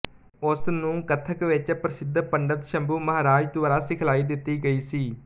ਉਸ ਨੂੰ ਕਥਕ ਵਿੱਚ ਪ੍ਰਸਿੱਧ ਪੰਡਿਤ ਸ਼ੰਭੂ ਮਹਾਰਾਜ ਦੁਆਰਾ ਸਿਖਲਾਈ ਦਿੱਤੀ ਗਈ ਸੀ